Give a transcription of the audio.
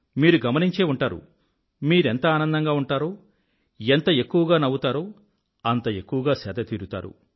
మీరు గమనించే ఉంటారు మీరెంత ఆనందంగా ఉంటారో ఎంత ఎక్కువగా నవ్వుతారో అంత ఎక్కువగా సేదతీరుతారు